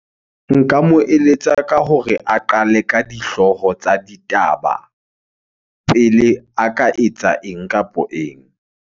Nka mo eletsa ka hore a qale ka dihlooho tsa ditaba pele a ka etsa eng kapo eng.